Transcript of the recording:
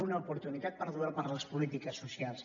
una oportunitat perduda per a les polítiques socials